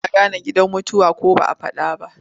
Ana gane gidan mutuwa ko ba a faɗa ba.